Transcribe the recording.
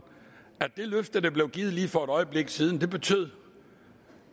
at det løfte der blev givet lige for et øjeblik siden betyder